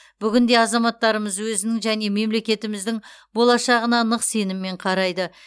бүгінде азаматтарымыз өзінің және мемлекетіміздің болашағына нық сеніммен қарайды